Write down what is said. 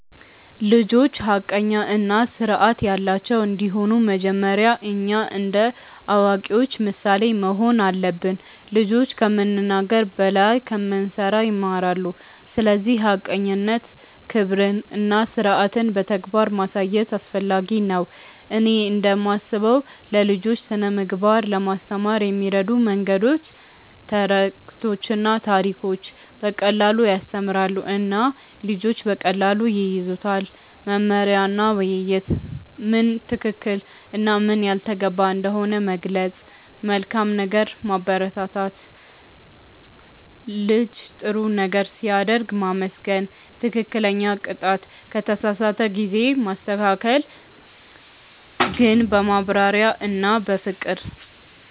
ልጆች ሐቀኛ እና ስርዓት ያላቸው እንዲሆኑ መጀመሪያ እኛ እንደ አዋቂዎች ምሳሌ መሆን አለብን። ልጆች ከምንናገር በላይ ከምንሠራ ይማራሉ፤ ስለዚህ ሐቀኝነትን፣ ክብርን እና ስርዓትን በተግባር ማሳየት አስፈላጊ ነው። እኔ እንደምስበው ለልጆች ስነ ምግባር ለማስተማር የሚረዱ መንገዶች፦ ተረቶችና ታሪኮች –> በቀላሉ ያስተምራሉ እና ልጆች በቀላሉ ይያዙታል። መመሪያ እና ውይይት –> ምን ትክክል እና ምን ያልተገባ እንደሆነ መግለጽ። መልካም ነገር ማበረታት –> ልጅ ጥሩ ነገር ሲያደርግ ማመስገን። ትክክለኛ ቅጣት –> ከተሳሳተ ጊዜ ማስተካከል ግን በማብራሪያ እና በፍቅር።